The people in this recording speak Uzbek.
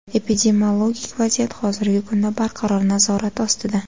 Epidemiologik vaziyat hozirgi kunda barqaror, nazorat ostida.